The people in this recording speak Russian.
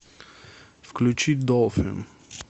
включи долфин